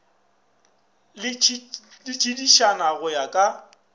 le tšiditšana go ya ka